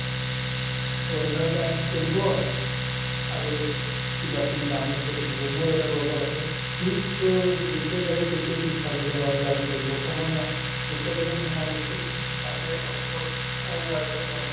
WIFI connect কৰিব আৰু কিবাকিবি download কৰিব থাকে মোৰ এটা লগৰ আছে সি to যেতিয়াই যাবা তেতিয়াই পিছফালে যাব আৰু লাগি থাকিব সময় ন যেতিয়ালৈকে নোহোৱালৈকে ই তাকে hotspot WIFI connect